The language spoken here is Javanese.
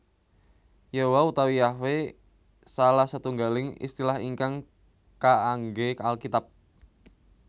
Yehowa utawi Yahwe salah setunggaling istilah ingkang kaanggé Alkitab